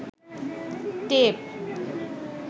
tape